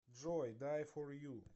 джой дай фор ю